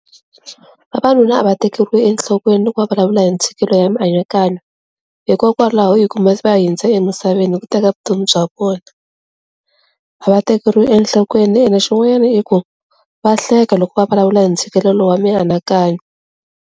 Vavanuna a va tekeriwi enhlokweni loko va vulavula hi ntshikelelo ya mianakanyo hikokwalaho hi ku va hundze emisaveni hi ku teka vutomi bya vona a va tekeriwi enhlokweni ene xin'wanyana i ku va hleka loko va vulavula hi ntshikelelo wa mianakanyo.